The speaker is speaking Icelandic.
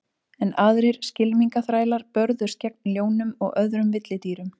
Enn aðrir skylmingaþrælar börðust gegn ljónum og öðrum villidýrum.